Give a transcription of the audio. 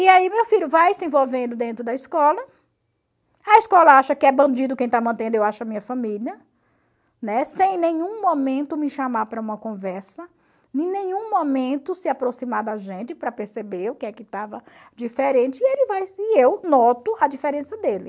E aí meu filho vai se envolvendo dentro da escola, a escola acha que é bandido quem está mantendo, eu acho a minha família, né, sem em nenhum momento me chamar para uma conversa, em nenhum momento se aproximar da gente para perceber o que é que estava diferente, e ele vai se e eu noto a diferença dele.